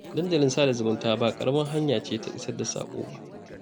Dandalin sada zumunta ba ƙaramar hanya ce ta isar da saƙo ba